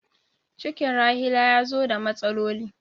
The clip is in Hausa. Cikin Rahila ya zo da matsaloli.